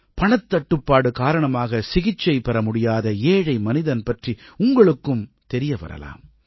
பணத்தட்டுப்பாடு காரணமாக சிகிச்சை பெற முடியாத ஏழை மனிதன் பற்றி உங்களுக்கும் தெரிய வரலாம்